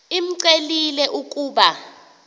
imcelile l ukuba